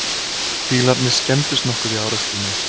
Bílarnir skemmdust nokkuð í árekstrinum